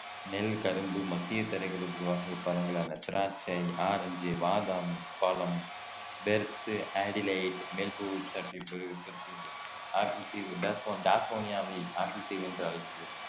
நெல் கரும்பு மத்திய தரைகடல் வகை பழங்களானா திராட்சை ஆரஞ்சு பாதாம் பழம் பெர்த் அடிலைட் டாஸ்மேனியாவை ஆப்பிள் தீவு என்று அழைக்கப்படுகிறது